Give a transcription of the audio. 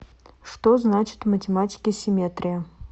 что значит в математике симметрия